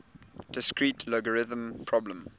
discrete logarithm problem